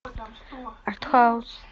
артхаус